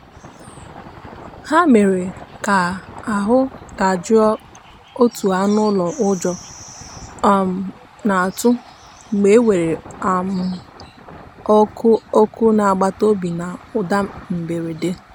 ha mere ka ahụ dajụọ otu anụ ụlọ ụjọ um na-atụ mgbe e weere um ọkụ ọkụ n'agbataobi ya na ụda mberede.